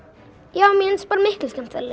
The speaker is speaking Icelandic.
já mér finnst bara miklu skemmtilegra